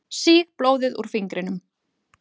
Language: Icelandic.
Sýg blóðið úr fingrinum.